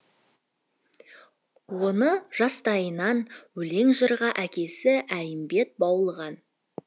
оны жастайынан өлең жырға әкесі әйімбет баулыған